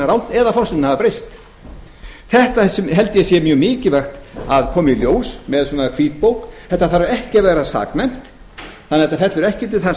rangt eða forsendurnar hafa breyst þetta held ég að sé mjög mikilvægt að komi í ljós með hvítbók þetta þarf ekki að vera saknæmt þannig að þetta fellur ekki undir þann